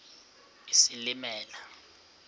isilimela